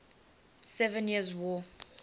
seven years war